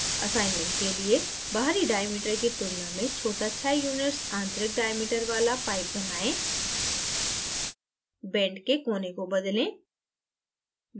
assignment के लिएबाहरी diameter की तुलना में छोटा 6 units आंतरिक diameter वाला pipe बनाएं बेंट के कोने को बदलें